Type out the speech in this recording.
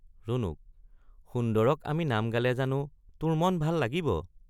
ৰুণুক— সুন্দৰক আমি নাম গালে জানো তোৰ মন ভাল লাগিব?